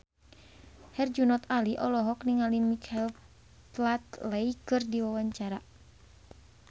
Herjunot Ali olohok ningali Michael Flatley keur diwawancara